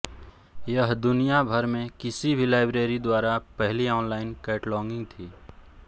यह दुनिया भर में किसी भी लाइब्रेरी द्वारा पहली ऑनलाइन कैटलॉगिंग थी